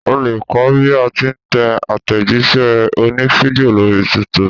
O lè kọ́ bí a ti ń tẹ àtẹ̀jíṣẹ́ òní fídíò lórí youtube.